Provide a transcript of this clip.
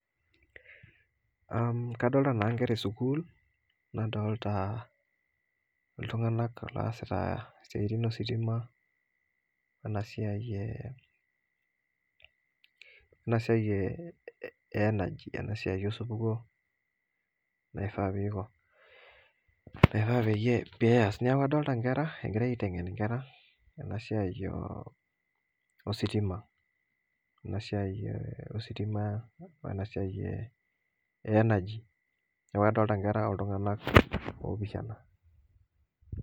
Kadolita naa ngera esukuul nadolita iltunganak oosita isiaitin ositima ena siai e energy ena siai osupuko Niaku adolita ingera egirai aitengen ena siai ositima ena siai ositima wenasai energy niaku kadolita iltunganak